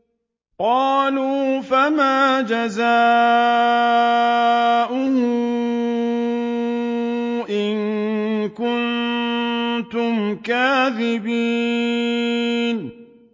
قَالُوا فَمَا جَزَاؤُهُ إِن كُنتُمْ كَاذِبِينَ